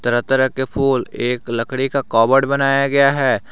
तरह तरह के फूल एक लकड़ी का कवर्ड बनाया गया है।